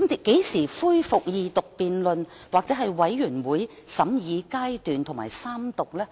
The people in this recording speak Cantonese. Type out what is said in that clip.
何時恢復二讀辯論、全體委員會審議階段及三讀呢？